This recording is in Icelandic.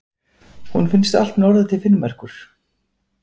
Hún finnst allt norður til Finnmerkur.